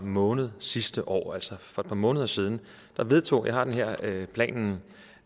måned sidste år altså for et par måneder siden vedtog jeg har planen